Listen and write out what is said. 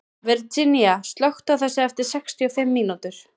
Virginía, slökktu á þessu eftir sextíu og fimm mínútur.